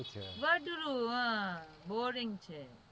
વાંદરું હા boring છે.